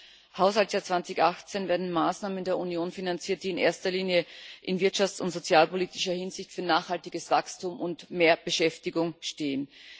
Im Haushaltsjahr 2018 werden Maßnahmen der Union finanziert, die in erster Linie in wirtschafts und sozialpolitischer Hinsicht für nachhaltiges Wachstum und mehr Beschäftigung stehen.